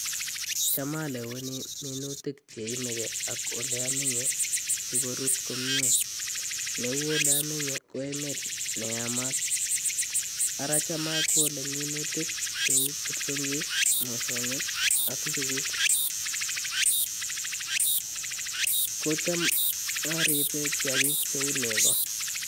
Cham aleweni minutik chenomeke olee omenye sikorut komie, neuu oleomenye ko emet neyamat, araa cham okole minutik cheu kipsongit, mosong'ik ak inchukuk, kocham oribe kiakik cheuu nekoo.